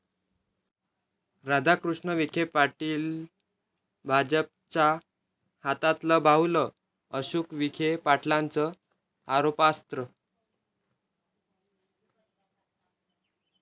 राधाकृष्ण विखे पाटील भाजपच्या हातातलं बाहुलं, अशोक विखे पाटलांचं आरोपास्त्र